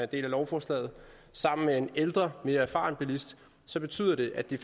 del af lovforslaget sammen med en ældre mere erfaren bilist så betyder det at de